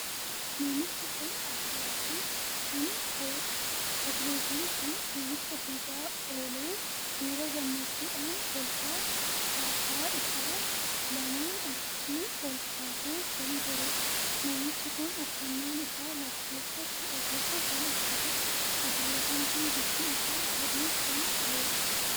Namichi kun atileetii kan taheedha. atileetiin kun fiigicha fiigaa oolee miira gammachuudhaan kolfaa harkaa isaa lamaan achi olkaasee kan jiruudha. namichi kun uffannaan isaa lakkoofsa kudha tokkoo kan uffatuudha. atileetiin kun bifti isaa adii kan taheedha.